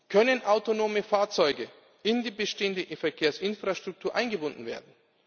Können autonome Fahrzeuge in die bestehende Verkehrsinfrastruktur eingebunden werden?